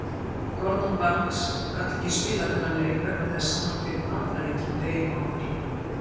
Gordon Banks gat ekki spilað þennan leik vegna þess að hann fékk matareitrun deginum áður.